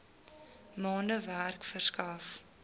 maande werk verskaf